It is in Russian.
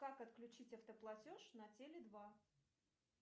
как отключить автоплатеж на теле два